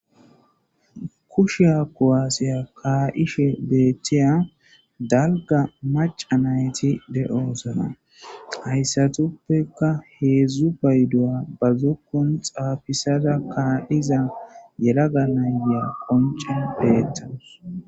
Kushiya kuwasiya ka'ishe betiya dalga maca nayt de'osona, haysatappeka hezdzdu payduwa ba zokonin xafisada ka'iza yelaga na'iya qoncen betawus.